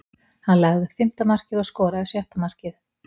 Hann lagði upp fimmta markið og skoraði sjötta markið.